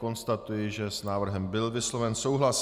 Konstatuji, že s návrhem byl vysloven souhlas.